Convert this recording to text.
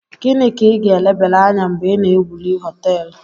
Gini ka i ga elebere Anya mgbe I na ewuli hoteelu?